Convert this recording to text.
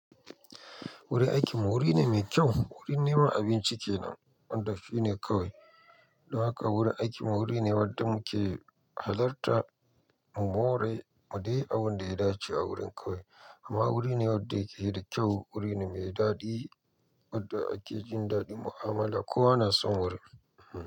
Wurin aikin mu wuri ne mai kyau, wurin neman abinci kenan wanda shi ne kawai. Don haka wurin aiknmui wuri ne wadda muke halarta mu more mu dai abin da ya dace a wurin kawai. Amma wuri ne wadda yake da kyau, wuri ne mai daɗi wadda ake jin daɗin mu'amala. Kowa na son wurin.